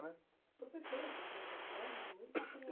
Você fez, então, faculdade de música?